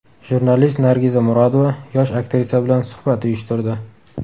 Jurnalist Nargiza Murodova yosh aktrisa bilan suhbat uyushtirdi.